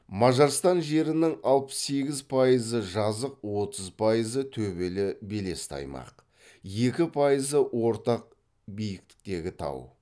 мажарстан жерінің алпыс сегіз пайызы жазық отыз пайызы төбелі белесті аймақ екі пайызы ортақ биіктіктегі тау